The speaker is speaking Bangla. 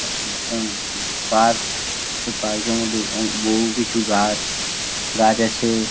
অহ উম পার্ক এই পার্ক -এর মধ্যে অনেক বহু কিছু গাছ গাছ আছে।